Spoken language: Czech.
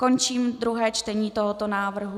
Končím druhé čtení tohoto návrhu.